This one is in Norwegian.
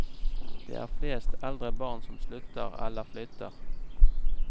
Det er flest eldre barn som slutter eller flytter.